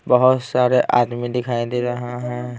बहुत सारे आदमी दिखाई दे रहे हैं।